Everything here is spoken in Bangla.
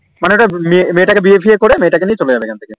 মানে মেয়ে তা কে বিয়ে ফিয়ে করে মেয়েটাকে নিয়ে চলে যাবে এখন থেকে